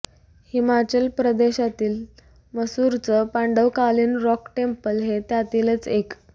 हिमाचल प्रदेशातील मसरुरचं पांडवकालीन रॉक टेंपल हे त्यातीलच एक